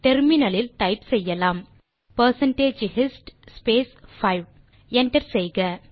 முனையத்தில் டைப் செய்யலாம் percentage hist space 5 enter செய்யலாம்